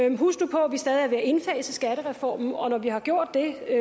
jo huske på at vi stadig er ved at indfase skattereformen og når vi har gjort det